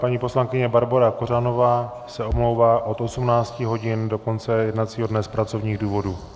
Paní poslankyně Barbora Kořanová se omlouvá od 18 hodin do konce jednacího dne z pracovních důvodů.